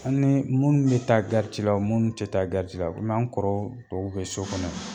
An ni munnu bɛ taa la o mun tɛ taa la komi an kɔrɔ tɔw bɛ so kɔnɔ